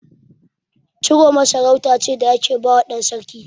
Ciroma sarauta ce da ake bawa ɗan sarki.